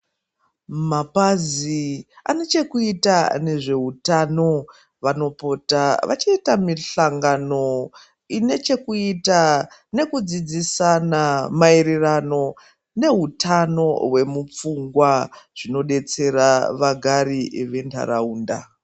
Mapazi ane chekuita nezvehutano vanopota vachiita mihlangano ine chekuita nekudzidzisana maererano nehutano hwemupfungwa zvinodetsera vagari ventaraunda.